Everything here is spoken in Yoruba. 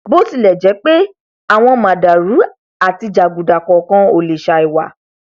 bótilẹjẹpé àwọn màdàrú àti jàgùdà kọọkan ò lè sàì wà